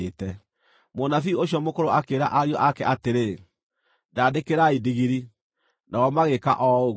Mũnabii ũcio mũkũrũ akĩĩra ariũ ake atĩrĩ, “Ndandĩkĩrai ndigiri.” Nao magĩĩka o ũguo.